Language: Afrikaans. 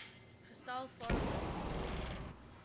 gestel farmer support